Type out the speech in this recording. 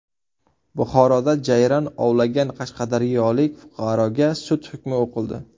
Buxoroda jayron ovlagan qashqadaryolik fuqaroga sud hukmi o‘qildi.